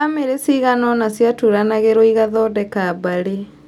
Bamĩrĩ cigana ũna ciaturanagĩrwo igathodeka mbarĩ